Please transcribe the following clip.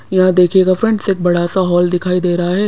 यहाँ देखिएगा फ्रेंड्स एक बड़ा सा हॉल दिखाई दे रहा है।